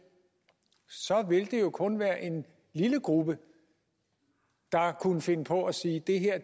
så vil det jo kun være en lille gruppe der kunne finde på at sige det her